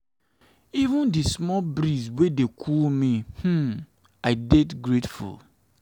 even for di small breeze wey dey cool me um i dey grateful.